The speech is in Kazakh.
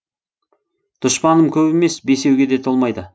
дұшпаным көп емес бесеуге де толмайды